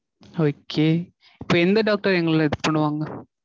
Okay. இப்போ எந்த doctor எங்கள இது பண்ணுவாங்க.